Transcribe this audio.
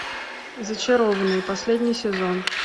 зачарованные последний сезон